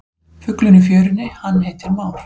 Fuglinn í fjörunni hann heitir már.